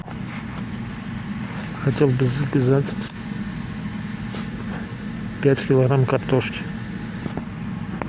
хотел бы заказать пять килограмм картошки